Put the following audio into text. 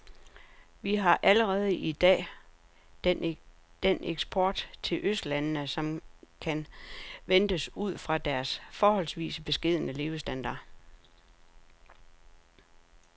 Vi har allerede i dag den eksport til østlandene, som kan ventes ud fra deres forholdsvis beskedne levestandard.